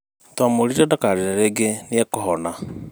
Twamwĩrire ndakarĩre rĩngĩ nĩekũhona